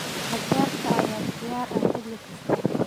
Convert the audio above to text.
Qajaarka ayaa diyaar ah xilli kasta.